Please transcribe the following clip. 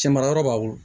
Cɛ mara yɔrɔ b'a bolo